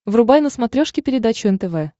врубай на смотрешке передачу нтв